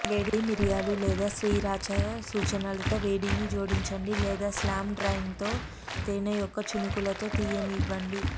వేడి మిరియాలు లేదా శ్రీరాచా సూచనలతో వేడిని జోడించండి లేదా స్లామ్ డ్రాయింగ్లో తేనె యొక్క చినుకులుతో తీయనివ్వండి